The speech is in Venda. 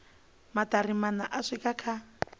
maṱari maṋa u swika kha